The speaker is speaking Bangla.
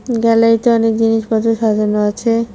গ্যালারিতে অনেক জিনিসপত্র সাজানো আছে।